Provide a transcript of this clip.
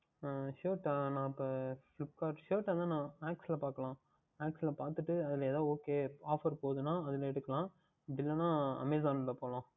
அஹ் Shirt டை எனக்கு Flipkart Shirt அதுஎல்லாம் Max யில் பார்க்கலாம் Max யில் பார்த்துவிட்டு அதில் எதாவுது Okay Off போகின்றது என்றால் அதில் எடுத்துக்கொள்ளலாம் இல்லை என்றல் Amazon யில் போகலாம்